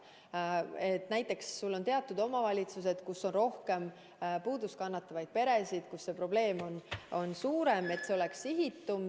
Näiteks selliseid omavalitsusi, kus on rohkem puudust kannatavaid peresid ja kus see probleem on suurem, nii et oleks sihitum.